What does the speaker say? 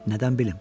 Nədən bilim?